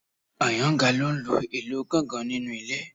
Àyàngalú ń lu ìlù gángan nínú ilé